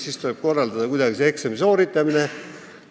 Siis tuleb see eksami sooritamine ka kuidagi korraldada.